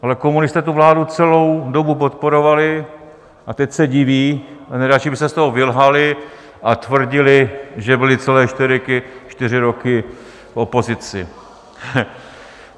Ale komunisté tu vládu celou dobu podporovali a teď se diví, nejradši by se z toho vylhali a tvrdili, že byli celé čtyři roky v opozici.